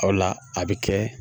O la a bɛ kɛ